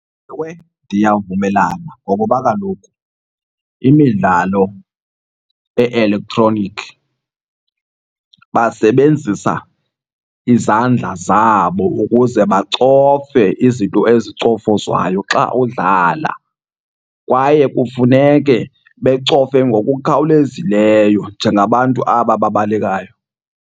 Ewe, ndiyavumelana ngokuba kaloku imidlalo e-elektroniki basebenzisa izandla zabo ukuze bacofe izinto ezicofozwayo xa udlala kwaye kufuneke becofe ngokukhawulezileyo njengabantu aba babalekayo.